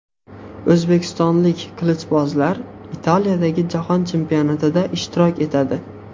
O‘zbekistonlik qilichbozlar Italiyadagi jahon chempionatida ishtirok etadi.